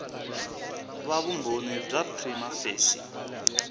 va vumbhoni bya prima facie